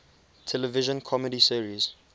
television comedy series